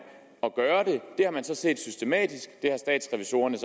at gøre det det har man set ske systematisk det har statsrevisorerne og